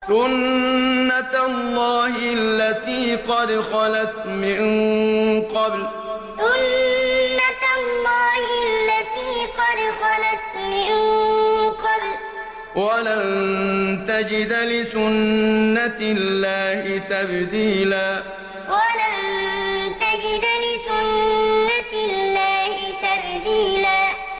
سُنَّةَ اللَّهِ الَّتِي قَدْ خَلَتْ مِن قَبْلُ ۖ وَلَن تَجِدَ لِسُنَّةِ اللَّهِ تَبْدِيلًا سُنَّةَ اللَّهِ الَّتِي قَدْ خَلَتْ مِن قَبْلُ ۖ وَلَن تَجِدَ لِسُنَّةِ اللَّهِ تَبْدِيلًا